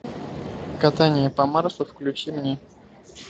катание по марсу включи мне